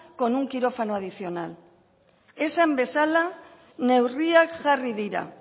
con un quirófano adicional esan bezala neurriak jarri dira